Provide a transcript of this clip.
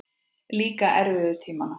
Líka erfiðu tímana.